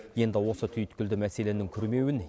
енді осы түйткілді мәселенің күрмеуін